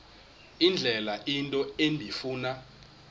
indlela into endifuna